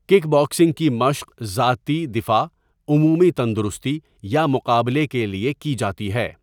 Kick boxing کی مشق ذاتی دفاع، عمومی تندرستی یا مقابلے کے لیے کی جاتی ہے۔